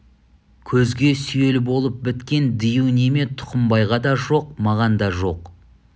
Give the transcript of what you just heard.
көзге сүйел болып біткен дию неме тұқымбайға да жоқ маған да жоқ